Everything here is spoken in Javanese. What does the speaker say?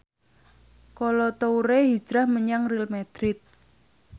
Kolo Toure hijrah menyang Real madrid